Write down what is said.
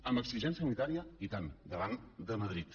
amb exigència unitària i tant davant de madrid